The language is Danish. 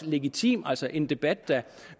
legitim altså en debat